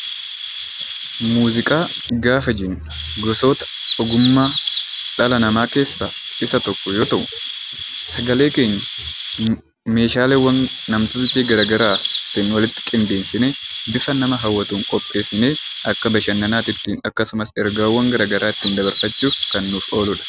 Muuziqaa gaafa jennu gosoota ogummaa dhala namaa keessaa isa tokko yoo ta'u, sagalee keenya meeshaaleewwan nam-tolchee garagaraatiin walitti qindeessinee bifa nama hawwatuun qopheessinee akka bashannanaatti ittiin akkasumas ergaawwan garagaraa ittiin dabarfachuuf kan nuuf oolu dha.